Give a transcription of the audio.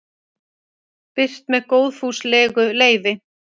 birt með góðfúslegu leyfi